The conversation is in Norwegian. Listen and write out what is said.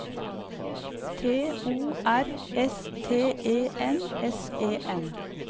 T O R S T E N S E N